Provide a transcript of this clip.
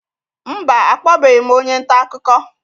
Mba, akpọbeghị m onye nta akụkọ